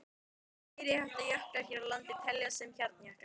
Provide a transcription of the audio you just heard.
Flestir meiriháttar jöklar hér á landi teljast til hjarnjökla.